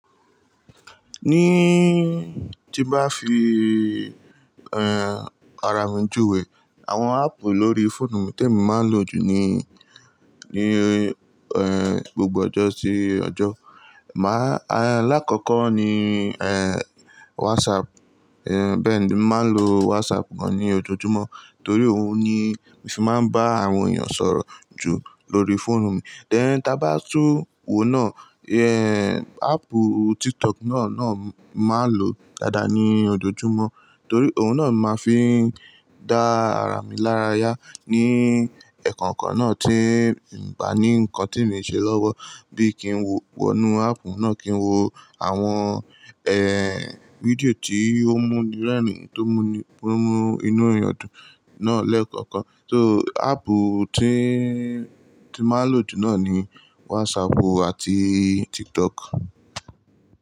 Ní tí bá fi, eh, ara mi júwe, àwọn áàpù lórí fóònù mi tí mo máa ń lò jù ni, ni, eh, gbogbo ọjọ́ sí ọjọ́. Màá, alákọ̀ọ́kọ́ ni, eh, WhatsApp. Eh, bẹ́ẹ̀ ni, mo máa ń lo WhatsApp gan ní ojoojúmọ́ torí òun ni mo fi máa ń bá àwọn èèyàn sọ̀rọ̀ jù lórí fóònù mi. Tẹ́ ẹ́, tí a bá tún wo náà, eh, áàpù TikTok náà náà màá ń lò dáadáa ní ojoojúmọ́ torí òun náà màá fi ń dá ara mi lára yá ní ẹ̀kọ̀ǹkọ̀ náà tí ń ba ní nǹkan tí mi ń ṣe lọ́wọ́ bí i kí n wo, wọnú áàpù náà kí ń wo àwọn, eh, fídíò tí ó múni rẹ́rìn-ín, tó múni fún mú inú èèyàn dùn náà lẹ́ẹ̀kọ̀ọ̀kan. So áàpù tí, tí màá ń lò jù náà ni WhatsApp àti TikTok.